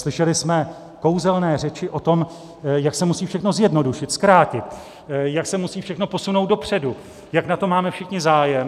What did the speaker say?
Slyšeli jsme kouzelné řeči o tom, jak se musí všechno zjednodušit, zkrátit, jak se musí všechno posunout dopředu, jak na tom máme všichni zájem.